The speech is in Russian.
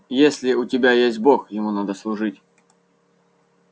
если у тебя есть бог ему надо служить